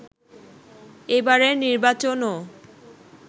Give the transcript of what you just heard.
এবারের নির্বাচনও